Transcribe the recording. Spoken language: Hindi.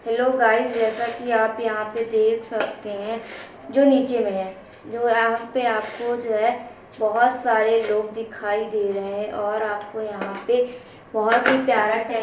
हेलो गाईज़ जैसा की आप यहाँ पर देख सकते हैं जो नीचे में है जो आप पे आपको जो आपको जो है बहुत सारे लोग दिखाई दे रहे हैं और आपको यहाँ पे बहुत ही प्यारा सा--